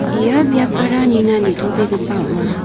ia biapara nina nitobegipa ong·a.